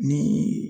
Ni